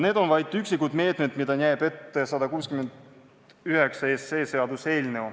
Need on vaid üksikud meetmed, mida näeb ette seaduseelnõu 169.